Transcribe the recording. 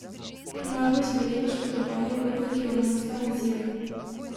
Najbolj so bili poškodovani potniki v romunskem vozilu.